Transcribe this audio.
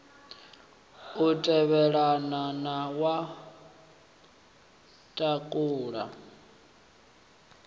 u tevhelelana na wa thakhula